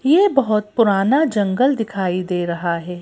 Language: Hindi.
ये बहोत पुराना जंगल दिखाई दे रहा है।